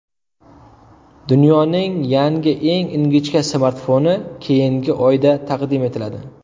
Dunyoning yangi eng ingichka smartfoni keyingi oyda taqdim etiladi.